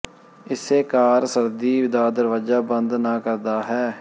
ਇਸੇ ਕਾਰ ਸਰਦੀ ਦਾ ਦਰਵਾਜ਼ਾ ਬੰਦ ਨਾ ਕਰਦਾ ਹੈ